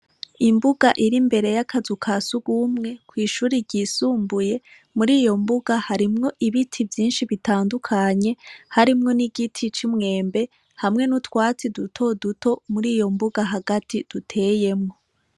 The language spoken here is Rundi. Imbuga iri imbere yakazu ka sugumwe kw'ishuri ryisumbuye muriyo mbuga harimwo ibiti vyishi bitandukanye harimwo n'igiti c'umwembe hamwe n'utwatsi dutoduto muriyo mbuga hagati duteyemwo.